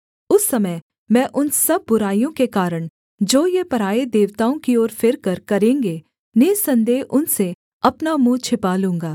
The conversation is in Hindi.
उस समय मैं उन सब बुराइयों के कारण जो ये पराए देवताओं की ओर फिरकर करेंगे निःसन्देह उनसे अपना मुँह छिपा लूँगा